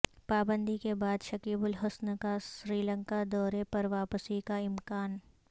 پابندی کے بعد شکیب الحسن کاسری لنکا دورے پر واپسی کا امکان